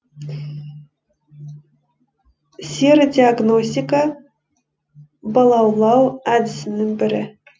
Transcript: серодиогностика балаулау әдісінің бірі